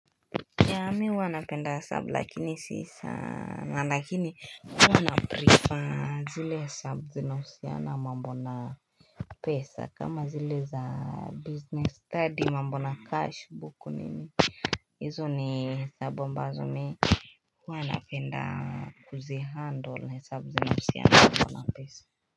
Yeah, mimi huwa napenda hesabu lakini si saana lakini huwa naprefer zile hesabu zinahusiana mambo na pesa, kama zile za business study mambo na cash book nini hizo ni hesabu ambazo mimi huwa napenda kuzihandle hesabu zinahusiana mambo na pesa.